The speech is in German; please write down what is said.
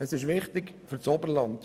Diese ist wichtig für das Oberland.